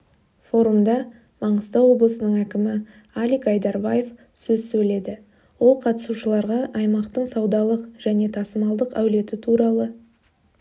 форумда маңғыстау облысының әкімі алик айдарбаев сөз сөйледі ол қатысушыларға аймақтың саудалық және тасымалдық әлеуеті туралы